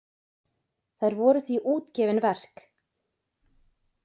Þær voru því útgefin verk.